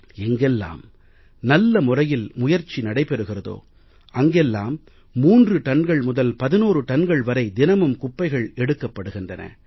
எங்கெல்லாம் நல்ல முறையில் முயற்சி நடைபெறுகிறதோ அங்கெல்லாம் 3 டன்கள் முதல் 11 டன்கள் வரை தினமும் குப்பைகள் எடுக்கப்படுகின்றன